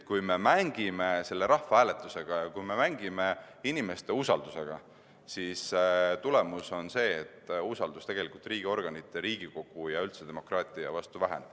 Kui me mängime rahvahääletuse ja inimeste usaldusega, siis tagajärg on see, et usaldus riigiorganite, Riigikogu ja üldse demokraatia vastu väheneb.